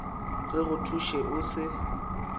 re go thuše o se